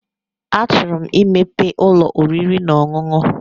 A chụrụ 'm i mepee ụlọ oriri na ọṅụṅụ.